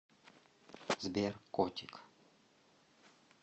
сбер котик